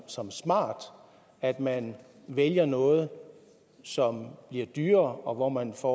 som smart at man vælger noget som bliver dyrere og hvor man får